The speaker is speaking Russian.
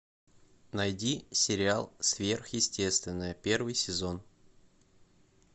найди сериал сверхъестественное первый сезон